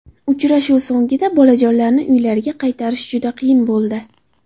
Uchrashuv so‘ngida bolajonlarni uylariga qaytarish juda qiyin bo‘ldi.